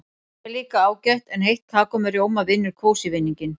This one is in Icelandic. Te er líka ágætt en heitt kakó með rjóma vinnur kósí-vinninginn.